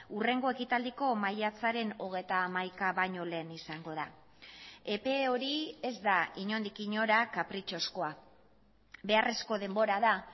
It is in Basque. hurrengo ekitaldiko maiatzaren hogeita hamaika baino lehen izango da epe hori ez da inondik inora kapritxozkoa beharrezko denbora da